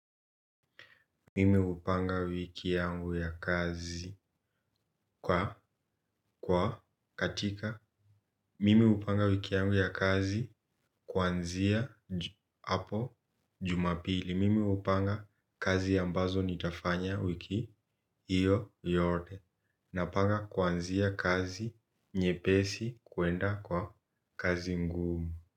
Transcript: Mimi upanga wiki yangu ya kazi kwa kwa katika mimi upanga wiki yangu ya kazi kwanzia apo jumapili. Mimi upanga kazi ambazo nitafanya wiki iyo yote. Napanga kwanzia kazi nye pesi kuenda kwa kazi ngumu.